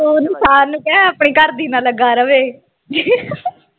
ਕੋਈ ਨਹੀਂ ਨਿਸ਼ਾਨ ਨੂੰ ਕਹਿ ਆਪਣੀ ਘਰਦੀ ਨਾ ਲੱਗਾ ਰਵੇ